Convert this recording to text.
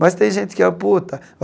Mas tem gente que amputa.